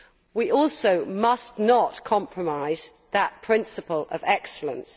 We also must not compromise that principle of excellence.